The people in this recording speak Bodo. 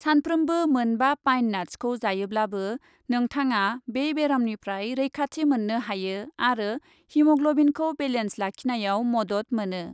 सानफ्रोमबो मोन बा पाइन नाट्सखौ जायोब्लाबो नोंथाङा बे बेरामनिफ्राय रैखाथि मोननो हायो आरो हिम'ग्लबिनखौ बेलेन्स लाखिनायाव मदद मोनो।